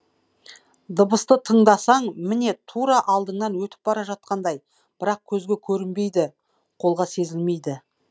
дыбысты тыңдасаң міне тура алдыңнан өтіп бара жатқандай бірақ көзге көрінбейді қолға сезілмейді